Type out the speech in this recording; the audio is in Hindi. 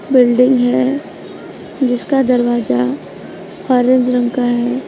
बिल्डिंग है जिसका दरवाजा ऑरेंज रंग का है।